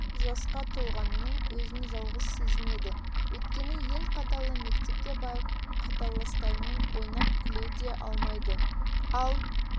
жасқа толғанымен өзін жалғыз сезінеді өйткені ел қатарлы мектепке барып қатарластарымен ойнап-күле де алмайды ал